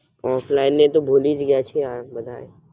Offline ને તો ભૂલી ગયા છે આ બધાય.